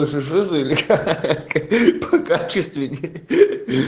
же жиза или как покачественнее